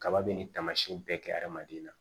Kaba be nin taamasiyɛnw bɛɛ kɛ adamaden na